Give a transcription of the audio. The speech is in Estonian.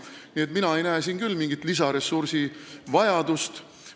Nii et mina ei näe siin küll mingit lisaressursi vajadust.